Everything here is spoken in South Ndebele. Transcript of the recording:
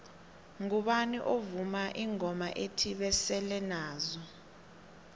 ngubani ovuma ingoma ethi basele nazo